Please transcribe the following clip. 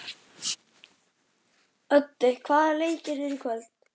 Öddi, hvaða leikir eru í kvöld?